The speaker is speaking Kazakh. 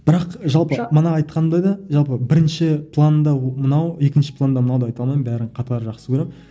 бірақ жалпы мана айтқанымда да жалпы бірінші планда мынау екінші планда мынау деп айта алмаймын бәрін қатар жақсы көремін